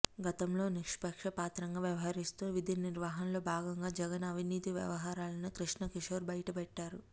గతంలో నిస్పక్షపాతంగా వ్యవహరిస్తూ విధినిర్వహణలో భాగంగా జగన్ అవినీతి వ్యవహారాలను కృష్ణకిషోర్ బయటపెట్టారు